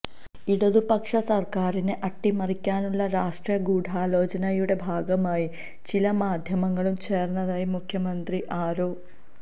ഇടതുപക്ഷ സർക്കാരിനെ അട്ടിമറിക്കാനുള്ള രാഷ്ട്രീയ ഗൂഢാലോചനയുടെ ഭാഗമായി ചില മാധ്യമങ്ങളും ചേർന്നതായി മുഖ്യമന്ത്രി ആരോ